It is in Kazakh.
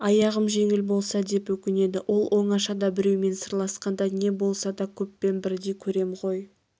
аяғым жеңіл болса деп өкінеді ол оңашада біреумен сырласқанда не болса да көппен бірдей көрем ғой